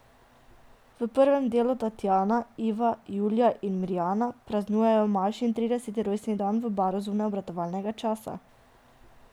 V prvem delu Tatjana, Iva, Julija in Mirjana praznujejo Mašin trideseti rojstni dan v baru zunaj obratovalnega časa.